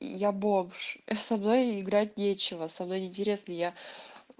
я бомж со мной играть нечего со мной не интересно я